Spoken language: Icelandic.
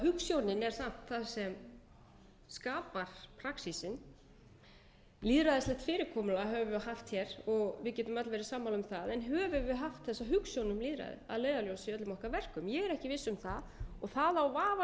hugsjónin er samt það sem skapar praxísinn lýðræðislegt fyrirkomulag hefur verið haft hér og við getum öll verið sammála um það en höfum við haft þessa hugsjón um lýðræðið að leiðarljósi í öllum okkar verkum ég er ekki viss um það og það á vafalaust við